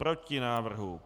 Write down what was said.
Proti návrhu.